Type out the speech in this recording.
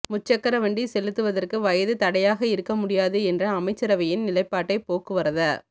முச்சக்கர வண்டி செலுத்துவதற்கு வயது தடையாக இருக்க முடியாது என்ற அமைச்சரவையின் நிலைப்பாட்டை போக்குவரத